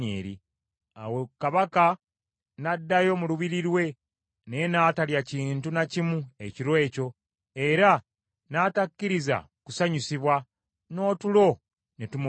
Awo kabaka n’addayo mu lubiri lwe, naye n’atalya kintu na kimu ekiro ekyo, era n’atakkiriza kusanyusibwa, n’otulo ne tumubula.